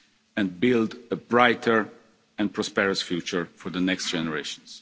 past and build a brighter and prosperous future for the next generations.